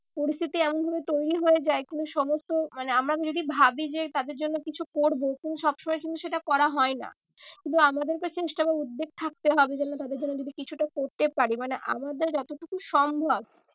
পরিস্থিতি এমন ভাবে তৈরী হয়ে যায় সমস্ত মানে আমরা যদি ভাবি যে তাদের জন্য কিছু করবো কিন্তু সব সময় কিন্তু সেটা করা হয় না। কিন্তু আমাদেরকে উদ্বেগ থাকতে হবে যেন তাদের জন্য যেন কিছুটা করতে পার। মানে আমাদের যতটুকু সম্ভব